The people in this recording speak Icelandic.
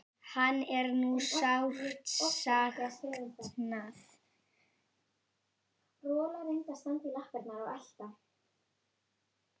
Hans er nú sárt saknað.